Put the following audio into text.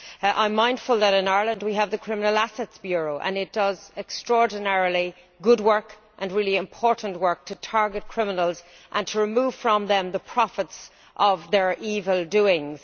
I am mindful that in Ireland we have the Criminal Assets Bureau and it does extraordinarily good work and really important work to target criminals and to remove from them the profits of their evil doings.